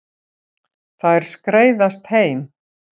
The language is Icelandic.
Þær skreiðast heim.